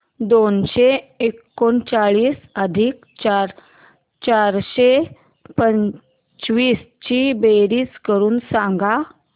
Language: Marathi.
दोनशे एकोणचाळीस अधिक चारशे पंचवीस ची बेरीज करून सांगा